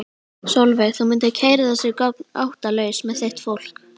Sólveig: Þú mundir keyra þessi göng óttalaus með þitt fólk?